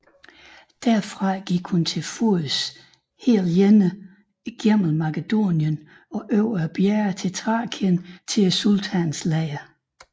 Derfra gik hun til fods og alene gennem Makedonien og over bjergene i Thrakien til sultanens lejr